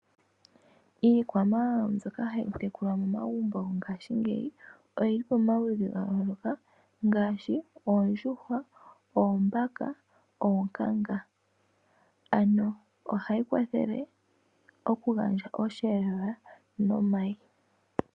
Iikwamawawa ndyoka hayi tekulwa momagumbo ngaashingeyi oyili pomaludhi gayooloka ngaashi oondjuhwa, oombaka, oonkanga. Ohayi kwathele okugandja osheelelwa nomayi.